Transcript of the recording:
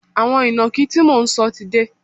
Àwọn ìnàkí tí mò ń sọ ti dé